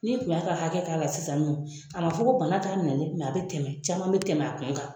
Ni kun y'a ka hakɛ k'a la sisan nin nɔ, a fo ko bana t'a minnɛ a bi tɛmɛ caman bi tɛmɛ a kun kan.